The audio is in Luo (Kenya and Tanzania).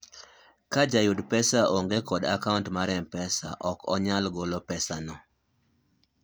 ka jahud pesa onge kod akaunt mar mpesa ok onyal golo pesa no